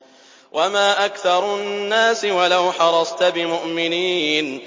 وَمَا أَكْثَرُ النَّاسِ وَلَوْ حَرَصْتَ بِمُؤْمِنِينَ